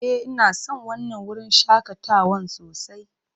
Ee, ina son wannan wurin shakatawan sosai.